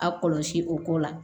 A kɔlɔsi o ko la